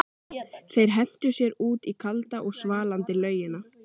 Þeir hentu sér út í kalda og svalandi laugina.